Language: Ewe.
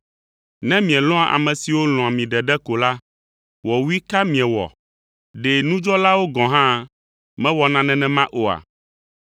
Ne mielɔ̃a ame siwo lɔ̃a mi ɖeɖe ko la, wɔwui ka miewɔ? Ɖe nudzɔlawo gɔ̃ hã mewɔna nenema oa?